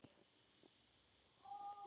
Góða ferð, kæra Veiga.